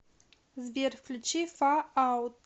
сбер включи фар аут